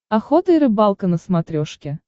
охота и рыбалка на смотрешке